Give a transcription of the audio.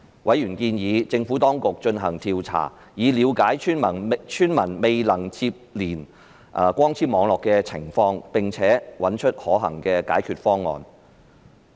委員建議政府當局進行調查，以了解村民未能連接光纖網絡的情況，並找出可行的解決方案。